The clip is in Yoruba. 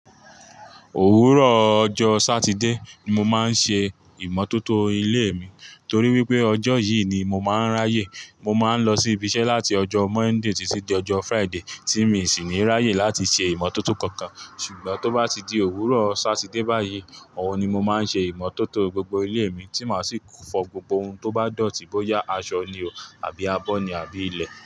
Òwúrò ọjọ́ Sátidé ni mo máa ń ṣe ìmọ́tótó ilé mi torí wípé ọjọ́ yìí ni mo máa ń ráyè. Mo máa ń lọ sí ibi iṣẹ́ láti ọjọ́ Monday títí dé ọjọ́ Friday tí mi ò sì ní ráyè láti ṣe ìmọ́tótó kankan. Ṣùgbọ́n tó bá ti di òwúrò Sátidé báyìí, òun ni mo máa ń ṣe ìmọ́tótó gbogbo ilé mi tí máa sì fọ gbogbo ohun tó bá dọ̀tí bóyá aṣọ ni o àbí abọ́ ni àbí ilẹ̀